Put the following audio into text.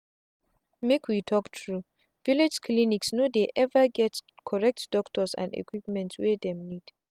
make we talk truevillage clinics no dey ever get correct doctors and equipment wey dem need.